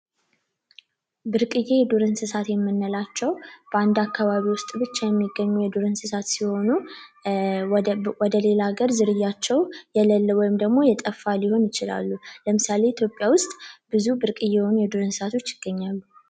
ብርቅየ የዱር እንስሳት የምንላቸው በአንድ አካባቢ ብቻ የሚገኙ የዱር እንስሳት ሲሆኑ ወደ ሌላ ሀገር ዝርያቸው የሌለ ወይም ደግሞ የጠፋ ሊሆን ይችላል። ለምሳሌ ኢትዮጵያ ውስጥ ብዙ የሆኑ የዱር እንስሳቶች ይገኛሉ።